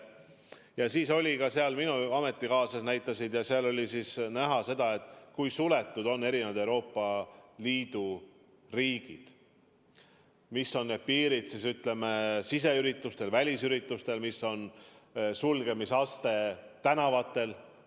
Ja minu ametikaaslased, kes kohal olid, näitasid enda omi ja seal oli näha, kui suletud on erinevad Euroopa Liidu riigid, millised on piirnormid siseüritustel, välisüritustel, milline on sulgemisaste tänavatel.